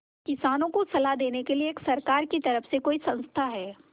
किसानों को सलाह देने के लिए सरकार की तरफ से कोई संस्था है